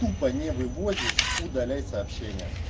тупа не вывозишь удаляй сообщение